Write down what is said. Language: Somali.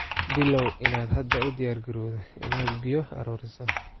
Bilow inaad hadda u diyaargarowdo inaad biyo ururiso.